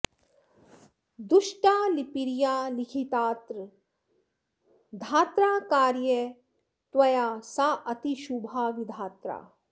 दुष्टा लिपिर्या लिखितात्र धात्रा कार्या त्वया साऽतिशुभा विधात्रा